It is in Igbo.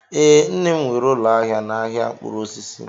Ee, nne m nwere ụlọ ahịa n'ahịa mkpụrụ osisi